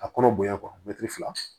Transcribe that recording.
A kɔnɔ bonya mɛtiri fila